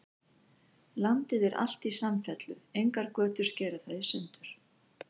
Landið er alt í samfellu, engar götur skera það í sundur.